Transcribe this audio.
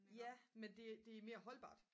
ja men det er mere holdbart